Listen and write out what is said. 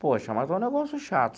Poxa, mas é um negócio chato.